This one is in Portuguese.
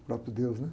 O próprio Deus, né?